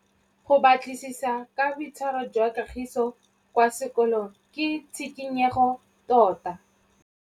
Go batlisisa ka boitshwaro jwa Kagiso kwa sekolong ke tshikinyêgô tota.